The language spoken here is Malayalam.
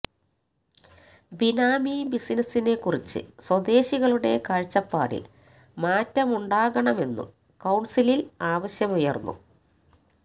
ബിനാമി ബിസിനസ്സിനെ കുറിച്ച് സ്വദേശികളുടെ കാഴ്ചപ്പാടില് മാറ്റമുണ്ടാകണമെന്നും കൌണ്സിലില് ആവശ്യമുയര്ന്നു